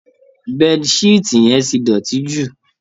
Bed sheet yẹn ti dọ̀tí jù